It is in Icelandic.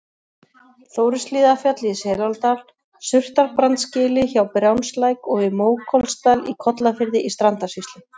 Þórishlíðarfjalli í Selárdal, Surtarbrandsgili hjá Brjánslæk og í Mókollsdal í Kollafirði í Strandasýslu.